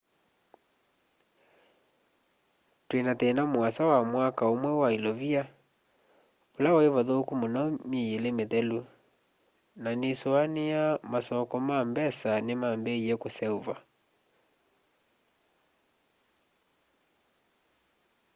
twina thina muasa wa mwaka umwe wa ilovia ula wai vathuku muno myei ili mithelu na nisuania yu masoko ma mbesa nimambiie kuseuva